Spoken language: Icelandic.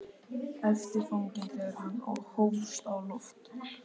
æpti fanginn þegar hann hófst á loft.